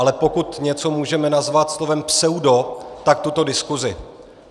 Ale pokud něco můžeme nazvat slovem pseudo, tak tuto diskuzi.